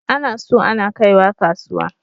Ana so ana kaiwa kasuwa.